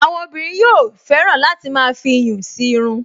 Àwọn obìnrin yóò fẹ́ràn láti máa fi iyùn sí irun